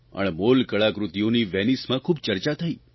અણમોલ કળાકૃતિઓની વેનીસમાં ખૂબ ચર્ચા થઇ